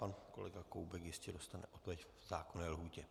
Pan kolega Koubek jistě dostane odpověď v zákonné lhůtě.